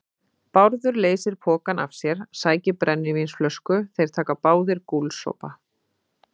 Bárður leysir pokann af sér, sækir brennivínsflösku, þeir taka báðir gúlsopa.